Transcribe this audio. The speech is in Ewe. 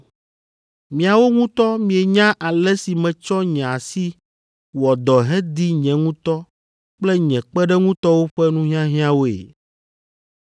Miawo ŋutɔ mienya ale si metsɔ nye asi wɔ dɔ hedi nye ŋutɔ kple nye kpeɖeŋutɔwo ƒe nuhiahiãwoe.